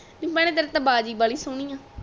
ਨੀ ਭੈਣੇ ਤੇਰੀ ਤਾ ਵਾਜ ਬਾਲੀ ਸਹੋਣੀ ਆ